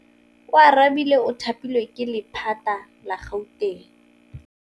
Oarabile o thapilwe ke lephata la Gauteng.